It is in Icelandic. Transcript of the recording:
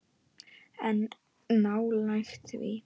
En nálægt því.